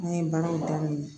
An ye baaraw daminɛ